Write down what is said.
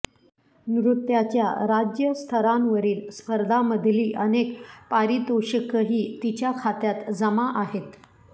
नृत्याच्या राज्यस्तरांवरील स्पर्धामधली अनेक पारितोषिकंही तिच्या खात्यात जमा आहेत